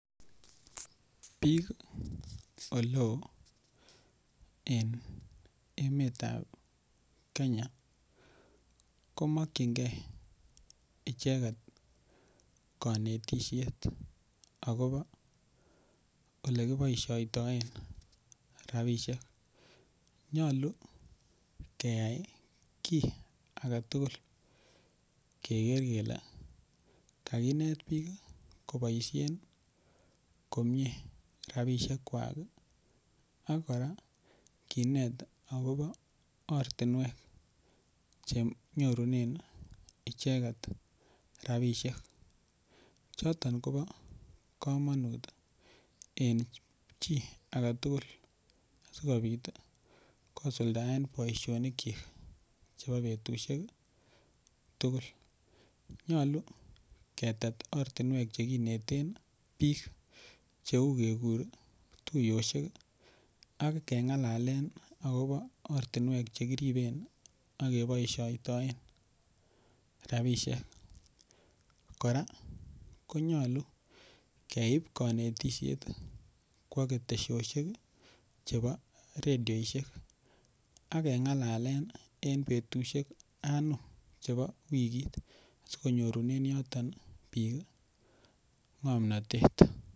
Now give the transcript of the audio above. Biik ole oo en emetab kenya komokchingei icheget kanetishet akobo ole kiboishoitoe rabishek nyolu keyai kii agetugul keker kele kainet biik koboishen komye rapishek kwak ak kora kinet akobo ortinwek chenyoru en icheget rapishek choton kobo kamanut en chichito agetugul sikobit kosuldaen boishonik chok chebo betushek tugul nyolu ketet ortinwek chekineten biik cheu kekur tuiyoshek ak kong'alen akobo ortinwek chekiriben akeboishoitoen rabishek kora konyolu keibu kanetishet kwo ketesioshek chebo redioishek akeng'alalen en betushek anom chebo wikit sikonyorunen yoton biik ng'omnotet